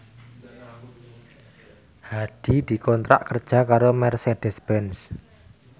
Hadi dikontrak kerja karo Mercedez Benz